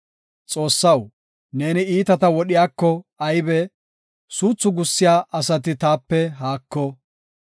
Xoossaw, neeni iitata wodhiyako aybe! Suuthu gussiya asati taape haako!